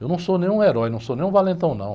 Eu não sou nenhum herói, não sou nenhum valentão, não.